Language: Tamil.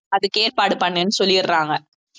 அதுக்கு ஏற்பாடு பண்ணுன்னு சொல்லிடறாங்க